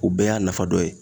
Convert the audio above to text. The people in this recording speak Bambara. O bɛɛ y'a nafa dɔ ye